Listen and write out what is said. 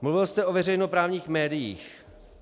Mluvil jste o veřejnoprávních médiích.